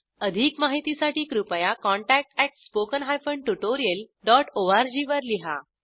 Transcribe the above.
अधिक माहितीसाठी कृपया contactspoken tutorialorg वर लिहा